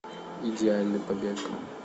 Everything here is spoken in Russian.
идеальный побег